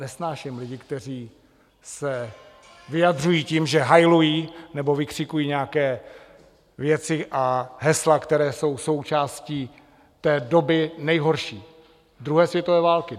Nesnáším lidi, kteří se vyjadřují tím, že hajlují nebo vykřikují nějaké věci a hesla, které jsou součástí té doby nejhorší, druhé světové války.